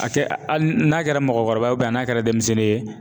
A kɛ hali n'a kɛra mɔgɔkɔrɔba ye n'a kɛra denmisɛnnin ye.